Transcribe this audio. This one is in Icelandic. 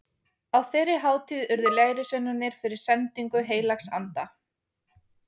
Á þeirri hátíð urðu lærisveinarnir fyrir sendingu heilags anda.